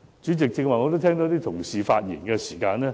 剛才有同事發言時指出，"